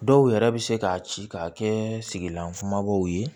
Dɔw yɛrɛ bɛ se k'a ci k'a kɛ sigilan kumabaw ye